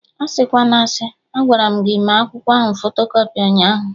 Asịkwana asị! Agwaram gị mee akwụkwọ ahụ fotokọpị ụnyaahụ